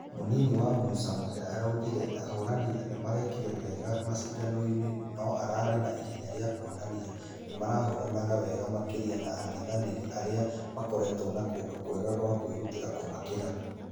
Mũnini wa musa muhe araugire ahũrani nĩmarĩkire wega mashidano-inĩ nũararĩ na ihenya rĩa kuonania nĩmarahoranaga wega makĩria ma angethanĩri arĩa makoretwo na kũndũ kwegakwakwĩrutĩra kũmakĩra.